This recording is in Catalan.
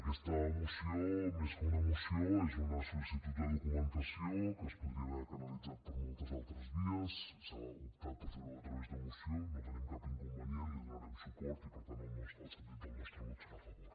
aquesta moció més que una moció és una sol·licitud de documentació que es podria haver canalitzat per moltes altres vies s’ha optat per fer ho a través de moció no hi tenim cap inconvenient hi donarem suport i per tant el sentit del nostre vot serà a favor